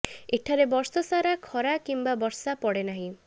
ଏଠାରେ ବର୍ଷ ସାରା ଖରା କିମ୍ବା ବର୍ଷା ପଡେ ନାହିଁ